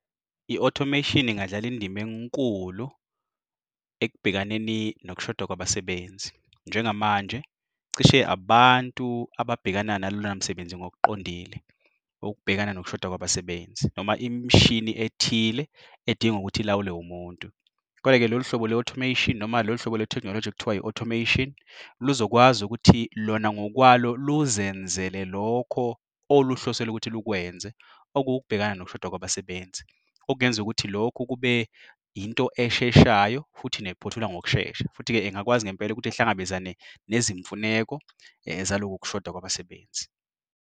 I-automation ingadlala indima enkulu ekubhekaneni nokushoda kwabasebenzi. Njengamanje, cishe abantu ababhekana nalomsebenzi ngokuqondile. Okubhekana ngokushoda kwabasebenzi noma imishini ethile edingwa ukuthi ilawulwa umuntu. Kodwa-ke lolu hlobo le-automation noma lolu hlobo le-technology ekuthiwa yi-automation, lizokwazi ukuthi lona ngokwalo luzenzele lokho oluhlosele ukuthi lukwenze. Okukubhekana ngokushoda kwabasebenzi, okungenzeka ukuthi lokhu kube into esheshayo futhi nephothulwa ngokushesha. Futhi-ke engakwazi ngempela ukuthi ihlangabezane nezimfuneko zalokhu kushoda kwabasebenzi.